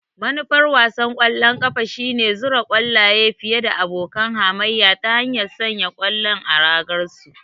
Manufar wasan ƙwallon kafa shine zura ƙwallaye fiye da abokan hamayya ta hanyar sanya ƙwallon a ragar su.